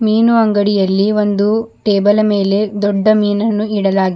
ಮೀನು ಅಂಗಡಿಯಲ್ಲಿ ಒಂದು ಟೇಬಲ ಮೇಲೆ ದೊಡ್ಡ ಮೀನನ್ನು ಇಡಲಾಗಿ--